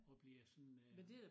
Og bliver sådan øh